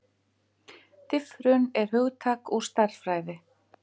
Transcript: Diffrun er hugtak úr stærðfræði.